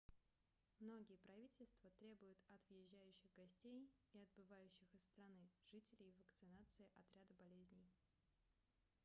многие правительства требуют от въезжающих гостей и отбывающих из страны жителей вакцинации от ряда болезней